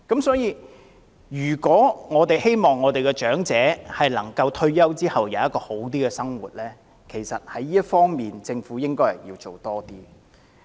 所以，如果我們希望長者能夠在退休後享有較好的生活，政府其實應該在這方面多做工夫。